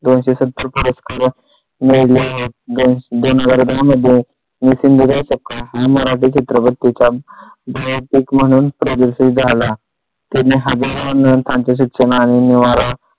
दोनशे सत्तर परत करून मोजले आहेत दोन हजार दोन मध्ये मी सिंधुताई सपकाळ झी मराठी चित्रपट तिचा भयातिक म्हणून प्रदर्शित झाला. तिने हजारो लोकांचे शिक्षण आणि निवारा